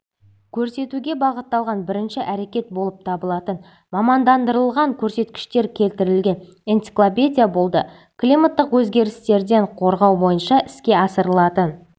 көрсетуге бағытталған бірінші әрекет болып табылатын мамандандырылған көрсеткіштер келтірілген энциклопедия болды климаттық өзгерістерден қорғау бойынша іске асырылатын